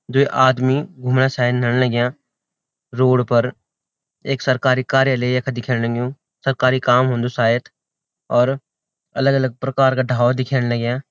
जु ये आदमी घुमणा शैन न लग्याँ रोड पर एक सरकारी कार्यालय यख दिखेणयूं सरकारी काम हुंदू शायद और अलग अलग प्रकार का ढाबा दिख्येण लग्याँ।